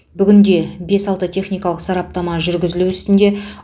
бүгінде бес алты техникалық сараптама жүргізілу үстінде